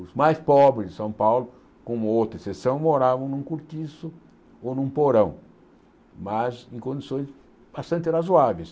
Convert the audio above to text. Os mais pobres de São Paulo, com uma ou outra exceção, moravam num cortiço ou num porão, mas em condições bastante razoáveis.